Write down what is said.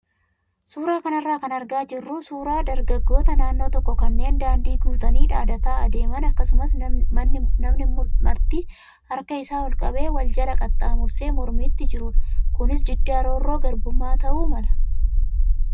Suuraa kanarraa kan argaa jirru suuraa dargaggoota naannoo tokkoo kanneen daandii guutanii dhaadataa adeeman akkasumas namni marti harka isaa ol qabee wal jala qaxxaamursee mormiitti jirudha. Kunis diddaa roorroo garbummaa ta'uu mala.